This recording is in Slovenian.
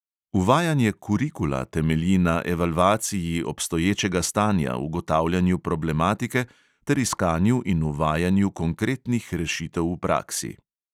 Uvajanje kurikula temelji na evalvaciji obstoječega stanja, ugotavljanju problematike ter iskanju in uvajanju konkretnih rešitev v praksi.